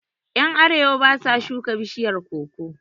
Yan arewa basa shuka bishiyar koko